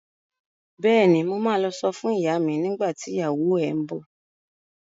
Bẹ́ẹ̀ni, mo ma lọ sọ fún ìyá mi nígbà tí ìyàwó ẹ ń bọ̀